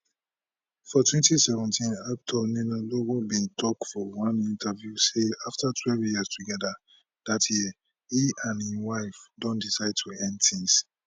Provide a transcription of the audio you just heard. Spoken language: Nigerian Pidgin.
for 2017 actor ninalowo bin tok for one interview say afta12 years togeda dat year e and im wife don decide to end tins